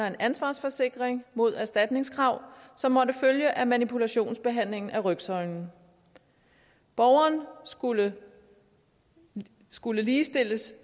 en ansvarsforsikring mod erstatningskrav som måtte følge af manipulationsbehandling af rygsøjlen borgeren skulle skulle ligestilles